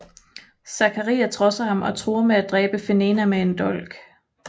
Zaccaria trodser ham og truer med at dræbe Fenena med en dolk